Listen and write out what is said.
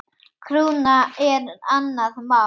Krúna er annað mál.